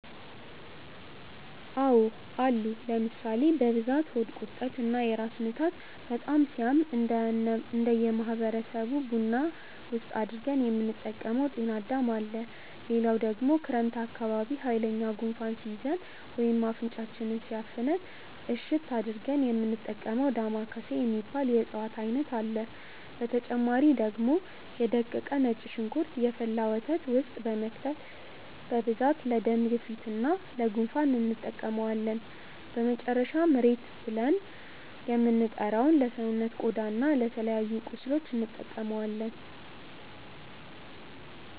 አዎ አሉ ለምሳሌ፦ በብዛት ሆድ ቁርጠት እና ለራስ ምታት በጣም ሲያም እነደ ማህበረሰብ ቡና ውስጥ አድርገን የምንጠቀመው ጤናዳም አለ፣ ሌላው ደግሞ ክረምት አካባቢ ሃይለኛ ጉንፋን ሲይዘን ወይም አፍንጫችንን ሲያፍነን እሽት አድርገን የሚንጠቀመው ዳማከሴ የሚባል የእፅዋት አይነት አለ፣ በተጨማሪ ደግሞ የ ደቀቀ ነጭ ሽንኩርት የፈላ ወተት ውስጥ በመክተት በብዛት ለደም ግፊት እና ለ ጉንፋን እንጠቀመዋለን፣ በመጨረሻም ሬት ብልን የምንጠራው ለሰውነት ቆዳ እና ለተለያዩ ቁስሎች እንጠቀማለን።